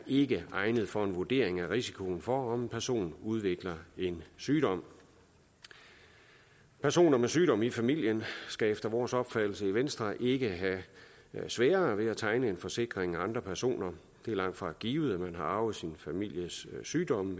ikke er egnet for en vurdering af risikoen for om en person udvikler en sygdom personer med sygdom i familien skal efter vores opfattelse i venstre ikke have sværere ved at tegne en forsikring end andre personer det er langtfra givet at man har arvet sin families sygdom